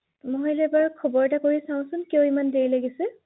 হয়